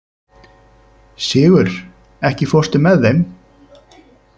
Sigur, ekki fórstu með þeim?